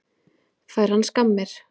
Fær hann skammir?